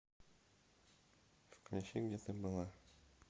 включи где ты была